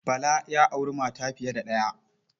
Bala ya auri mata fiye da ɗaya.